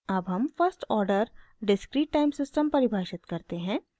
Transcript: अब हम first order discrete time system परिभाषित करते हैं